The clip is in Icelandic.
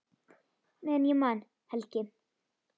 Meðan ég man, Helgi.